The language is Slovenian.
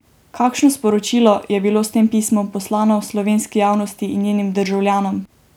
Kakšno sporočilo je bilo s tem pismom poslano slovenski javnosti in njenim državljanom?